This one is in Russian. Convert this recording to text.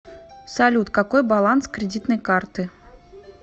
салют какой баланс кредитной карты